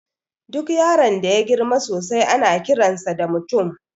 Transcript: Duk yaron da yagirma sosai ana kiransa da mutum